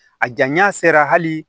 A janya sera hali